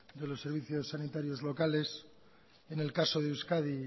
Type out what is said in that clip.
de los servicios sanitarios locales en el caso de euskadi